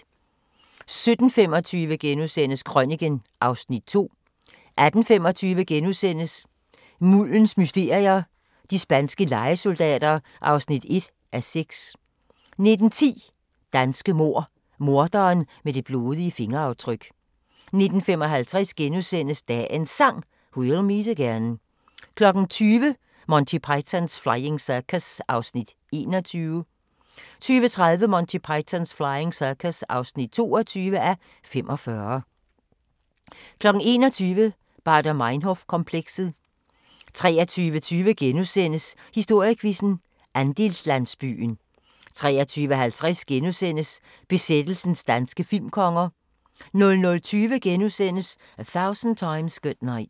17:25: Krøniken (Afs. 2)* 18:25: Muldens mysterier - de spanske lejesoldater (1:6)* 19:10: Danske mord – Morderen med det blodige fingeraftryk 19:55: Dagens Sang: We'll meet again * 20:00: Monty Python's Flying Circus (21:45) 20:30: Monty Python's Flying Circus (22:45) 21:00: Baader Meinhof-komplekset 23:20: Historiequizzen: Andelslandsbyen * 23:50: Besættelsens danske filmkonger * 00:20: A Thousand Times Good Night *